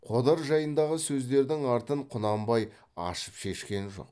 қодар жайындағы сөздердің артын құнанбай ашып шешкен жоқ